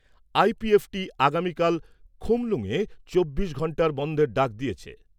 IPFT আগামীকাল খুমলুঙে চব্বিশ ঘণ্টার বনধের ডাক দিয়েছে।